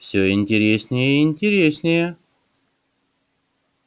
всё интереснее и интереснее